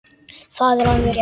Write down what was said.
Það er alveg rétt.